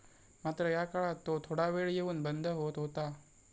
मात्र या काळात तो थोडा वेळ येऊन बंद होत होता.